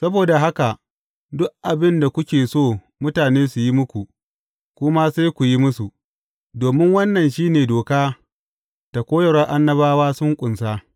Saboda haka, duk abin da kuke so mutane su yi muku, ku ma sai ku yi musu, domin wannan shi ne Doka da koyarwar Annabawa sun ƙunsa.